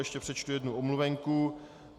Ještě přečtu jednu omluvenku.